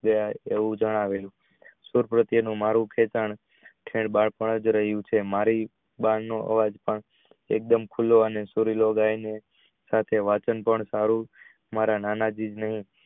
એવું જણાવેલું મારુ ખેંચાણ બાળપણ જ રહીયુ છે મારી બાર નો આવજા પણ એકદમ ખુલો અને વચ્ચે મારા નાના